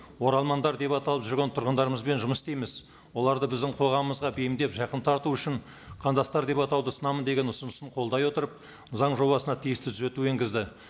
оралмандар деп аталып жүрген тұрғындарымызбен жұмыс істейміз оларды біздің қоғамымызға бейімдеп жақын тарту үшін қандастар деп атауды ұсынамын деген ұсынысын қолдай отырып заң жобасына тиісті түзету енгізді